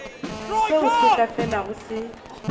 seo se sa felego se